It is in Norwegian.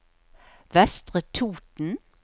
Vestre Toten